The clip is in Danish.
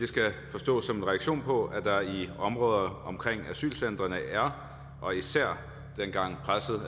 skal forstås som en reaktion på at der i områder omkring asylcentrene er og især var dengang